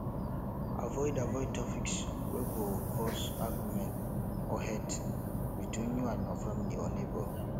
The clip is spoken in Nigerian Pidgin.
avoid avoid topics wey go cause auguement or hate between you and your family or neigbour